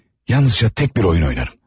Yalnızca tək bir oyun oynarım.